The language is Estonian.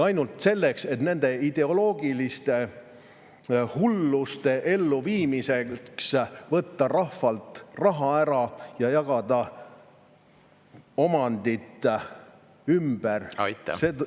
Nende ideoloogiliste hulluste elluviimiseks on vaja rahvalt raha ära võtta ja omandit ümber jagada.